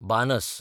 बानस